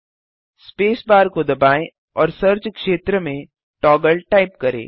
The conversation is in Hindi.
स्पेस बार को दबाएँ और सर्च क्षेत्र में Toggleटाइप करें